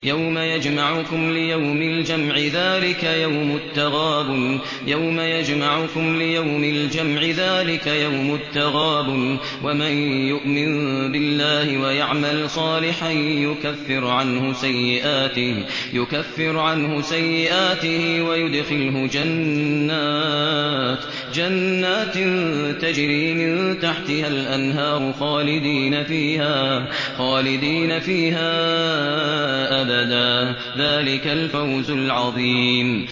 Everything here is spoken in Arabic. يَوْمَ يَجْمَعُكُمْ لِيَوْمِ الْجَمْعِ ۖ ذَٰلِكَ يَوْمُ التَّغَابُنِ ۗ وَمَن يُؤْمِن بِاللَّهِ وَيَعْمَلْ صَالِحًا يُكَفِّرْ عَنْهُ سَيِّئَاتِهِ وَيُدْخِلْهُ جَنَّاتٍ تَجْرِي مِن تَحْتِهَا الْأَنْهَارُ خَالِدِينَ فِيهَا أَبَدًا ۚ ذَٰلِكَ الْفَوْزُ الْعَظِيمُ